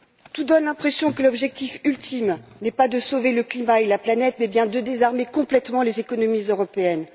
Tout donne l'impression que l'objectif ultime n'est pas de sauver le climat et la planète, mais bien de désarmer complètement les économies européennes.